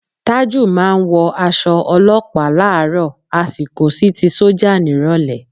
Tájù máa ń wọ aṣọ olọ́pàá láàárọ̀ á sì kó sí ti sọ́jà nírọ̀lẹ́